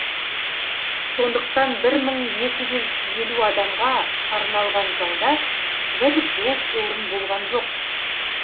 сондықтан бір мың екі жүз елу адамға арналған залда бір бос орын болған жоқ